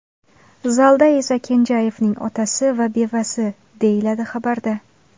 Zalda esa Kenjayevning otasi va bevasi”, deyiladi xabarda.